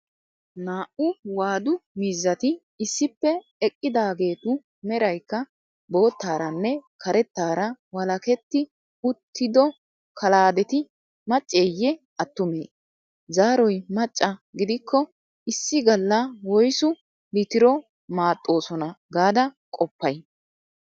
Naa"u waadu miizzati issippe eqqidaageetu meraykka boottaaranne karettaara walaketti uttido kalaadeti macceeyye attumee? Zaaroy macca gidikko issi galla woysu litiro maaxxoosona gaada qoppay?